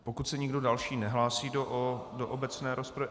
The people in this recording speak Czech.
Pokud se nikdo další nehlásí do obecné rozpravy...